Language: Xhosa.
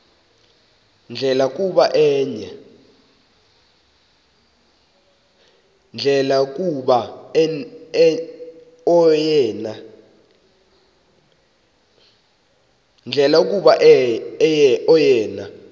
ndlela kuba oyena